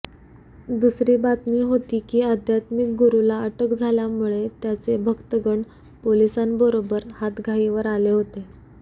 दुसरी बातमी होती की आध्यात्मिक गुरूला अटक झाल्यामुळे त्याचे भक्तगण पोलिसांबरोबर हातघाईवर आले होते